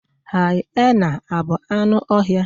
hyena a bụ anụ ọhịa?